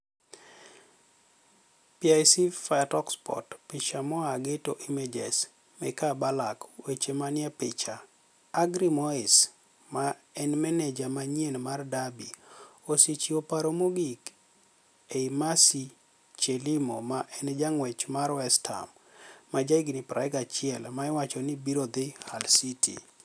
(Pic via Talksport) Picha moa Getty Images, Micae Ballack weche maniie picha, Agry Moes ma eni mani eja maniyieni mar Derby, osechiwo paro mogik ni e Marcy Chelimo ma eni janig'wech mar West Ham, ma jahiginii 21 ma iwacho nii biro dhi Hull City.